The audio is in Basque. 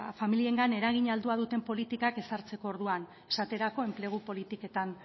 familiengan eragin altua duten politikak ezartzerako orduan esaterako enplegu politiketan